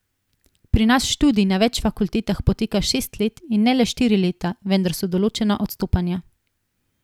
Pri nas študij na več fakultetah poteka šest let, in ne le štiri leta, vendar so določena odstopanja.